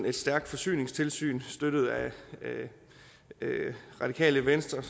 et stærkt forsyningstilsyn støttet af radikale venstre